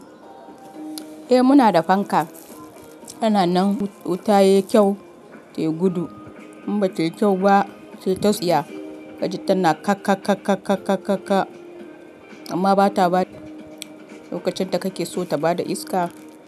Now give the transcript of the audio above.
Eh muna da fanka tana nan tayi kyau tai gudu in bada kyau ba tai ta tsiya kaji tana ka ka ka. Amma bata bada lokacin da kake so ta bada iska.